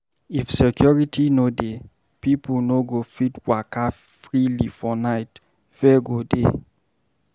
If security no dey, pipo no go fit waka freely for night, fear go dey